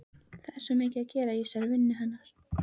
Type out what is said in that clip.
Það er svo mikið að gera í þessari vinnu hennar.